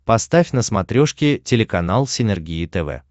поставь на смотрешке телеканал синергия тв